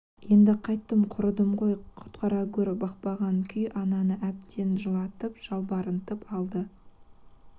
енді қайттім құрыдым ғой құтқара гөрі бақпаған күй ананы әбден жылатып жалбарынтып алды